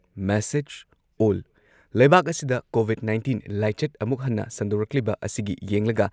message ꯑꯣꯜ ꯂꯩꯕꯥꯛ ꯑꯁꯤꯗ ꯀꯣꯚꯤꯗ ꯅꯥꯏꯟꯇꯤꯟ ꯂꯥꯏꯆꯠ ꯑꯃꯨꯛ ꯍꯟꯅ ꯁꯟꯗꯣꯔꯛꯂꯤꯕ ꯑꯁꯤꯒꯤ ꯌꯦꯡꯂꯒ